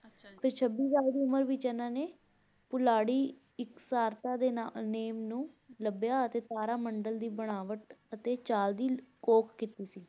ਤੇ ਛੱਬੀ ਸਾਲ ਦੀ ਉਮਰ ਵਿੱਚ ਇਹਨਾਂ ਨੇ ਪੁਲਾੜੀ ਇੱਕ ਸਾਰਤਾ ਦੇ ਨਾ name ਨੂੰ ਲੱਭਿਆ ਅਤੇ ਤਾਰਾ ਮੰਡਲ ਦੀ ਬਣਾਵਟ ਅਤੇ ਚਾਲ ਦੀ ਘੋਖ ਕੀਤੀ ਸੀ।